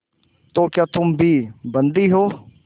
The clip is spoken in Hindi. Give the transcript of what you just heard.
तो क्या तुम भी बंदी हो